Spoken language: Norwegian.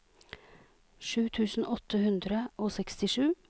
sju tusen åtte hundre og sekstisju